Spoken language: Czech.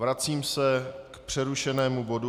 Vracím se k přerušenému bodu